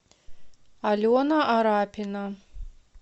алена арапина